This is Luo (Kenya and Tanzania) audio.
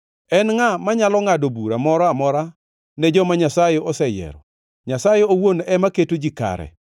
En ngʼa manyalo ngʼado bura moro amora ne joma Nyasaye oseyiero? Nyasaye owuon ema keto ji kare.